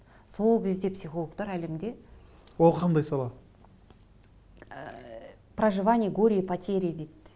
сол кезде психологтар әлемде ол қандай сала ыыы проживание горя и потерии дейді